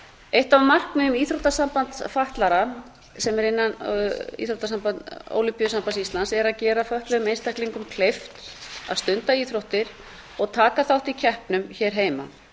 eitt af markmiðum íþróttasamband fatlaðra sem er innan ólympíusambands íslands er að gera fötluðum einstaklingum kleift að stunda íþróttir og taka þátt í keppnum hér heima